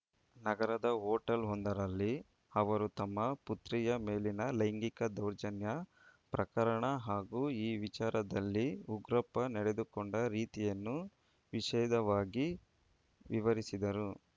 ನಗರದ ಹೋಟೆಲ್‌ವೊಂದರಲ್ಲಿ ಅವರು ತಮ್ಮ ಪುತ್ರಿಯ ಮೇಲಿನ ಲೈಂಗಿಕ ದೌರ್ಜನ್ಯ ಪ್ರಕರಣ ಹಾಗೂ ಈ ವಿಚಾರದಲ್ಲಿ ಉಗ್ರಪ್ಪ ನಡೆದುಕೊಂಡ ರೀತಿಯನ್ನು ವಿಷೆದವಾಗಿ ವಿವರಿಸಿದರು